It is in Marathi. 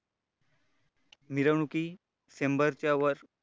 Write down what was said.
मिरवणुकी शंभरच्या वर